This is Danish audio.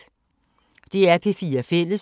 DR P4 Fælles